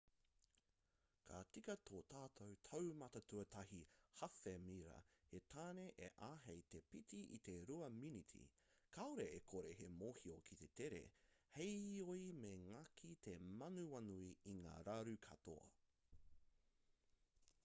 ka tika tō tātou taumata-tuatahi hāwhe-mira he tāne e āhei te pīti i te rua miniti kāore e kore he mōhio ki te tere heoi me ngaki te manawanui i ngā raru katoa